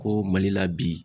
Ko Mali la bi.